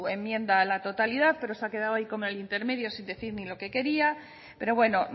enmienda a la totalidad pero se ha quedado hay en el intermedio sin decir ni lo que quería pero bueno